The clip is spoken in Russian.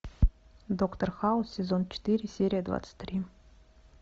доктор хаус сезон четыре серия двадцать три